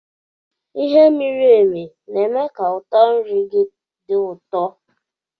Ighe miri emi na-eme ka ụtọ nri gị dị ụtọ